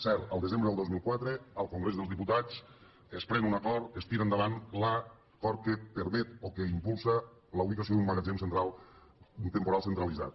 cert el desembre del dos mil quatre al congrés dels diputats es pren un acord es tira endavant l’acord que permet o que impulsa la ubicació d’un magatzem temporal centralitzat